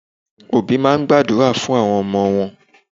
Òbí máa ń gbàdúrà fún àwọn ọmọ wọn